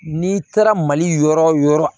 N'i taara mali yɔrɔ wo yɔrɔ